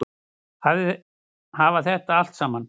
Hafa þetta allt saman?